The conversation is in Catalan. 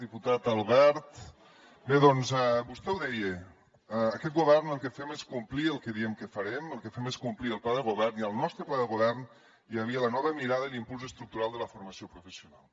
diputat albert bé doncs vostè ho deia aquest govern el que fem és complir el que diem que farem el que fem és complir el pla de govern i al nostre pla de govern hi havia la nova mirada i l’impuls estructural de la formació professional